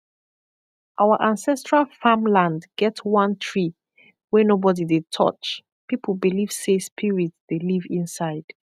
our ancestral farmland get one tree wey nobody dey touch people believe say spirit dey live inside